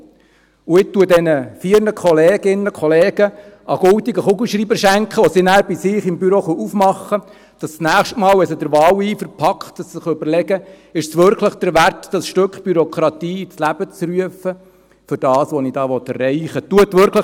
Ich schenke diesen vier Kolleginnen und Kollegen einen goldenen Kugelschreiber, den sie in ihren Büros zur Hand nehmen können, damit sie sich, das nächste Mal, wenn sie der Wahleifer packt, überlegen, ob es sich wirklich lohnt, das entsprechende Stück Bürokratie ins Leben zu rufen, für das, was sie erreichen wollen.